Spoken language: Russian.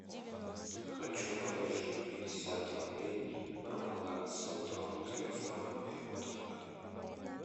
хочу положить пятьдесят рублей на баланс сотового телефона моего друга